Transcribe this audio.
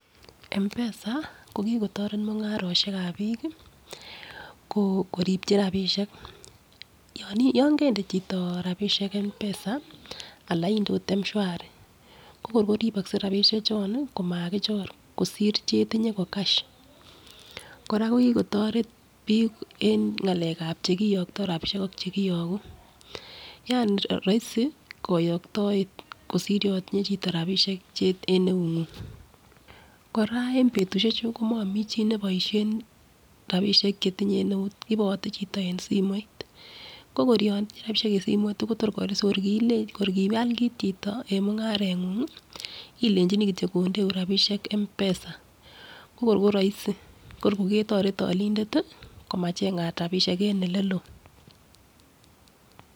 M'PESA ko kikotoret mungaroshekab bik kii ko koribchi rabishek yoni yon kende chito rabishek M'PESA Alan inde ot Mshwari ko kor koribokset rabishek chon komakichor kosir chetinye ko cash. Koraa ko kikotoret bik en ngalekab chekiyokto yani roisi koyoktoet kosir yon itinye chito rabishek en eunguny. Kora en betushek chuu komomii chii neboishen rabishek chetinye en eut ipote chito en simoit, ko kor yon itinye rabishek en simoit Kotor kiker kor kial kit chito en mungarengung ilechini kityok kondeun rabishek M'PESA ko kor ko roisi ko kor koketoret olindet tii komachengat rabishek en eleloo.